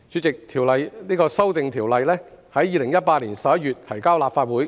代理主席，《條例草案》於2018年11月提交立法會。